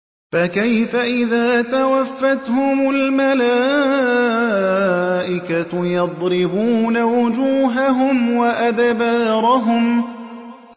فَكَيْفَ إِذَا تَوَفَّتْهُمُ الْمَلَائِكَةُ يَضْرِبُونَ وُجُوهَهُمْ وَأَدْبَارَهُمْ